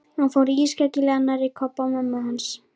Hann fór ískyggilega nærri Kobba og mömmu hans.